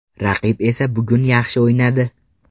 Raqib esa bugun yaxshi o‘ynadi.